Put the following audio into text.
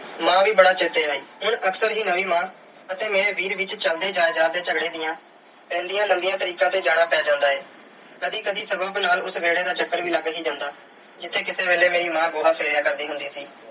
ਮਾਂ ਵੀ ਬੜਾ ਚੇਤੇ ਆਈ। ਹੁਣ ਅਕਸਰ ਹੀ ਮੇਰੀ ਨਵੀਂ ਮਾਂ ਅਤੇ ਮੇਰੇ ਵੀਰ ਵਿੱਚ ਚਲਦੇ ਜਾਇਦਾਦ ਦੇ ਝਗੜੇ ਦੀਆਂ ਪੈਂਦੀਆਂ ਲੰਬੀਆਂ ਤਰੀਕਾਂ ਤੇ ਜਾਣਾ ਪੈ ਜਾਂਦਾ ਏ। ਕਦੀ-ਕਦੀ ਸਗੋਂ ਫਿਲਹਾਲ ਉਸ ਵਿਹੜੇ ਦਾ ਚੱਕਰ ਵੀ ਲੱਗ ਹੀ ਜਾਂਦਾ ਜਿੱਥੇ ਕਿਸੇ ਵੇਲੇ ਮੇਰੀ ਮਾਂ ਗੋਹਾ ਫੇਰਿਆ ਕਰਦੀ ਹੁੰਦੀ ਸੀ।